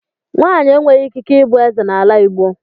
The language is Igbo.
Nwaanyị enweghị ikike ịbụ eze n' ala igbo